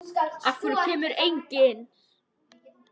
Af hverju kemur enginn?